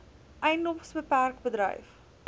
edms bpk bedryf